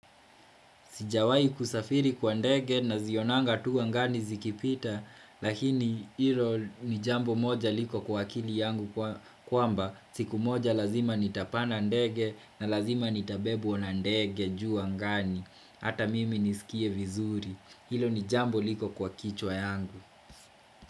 Sijawai kusafiri kwa ndege nazionanga tu angani zikipita, lakini hilo ni jambo moja liko kwa kili yangu kwamba, siku moja lazima nitapanda ndege na lazima nitabebwa na ndege juu angani, hata mimi nisikie vizuri, hilo ni jambo liko kwa kichwa yangu.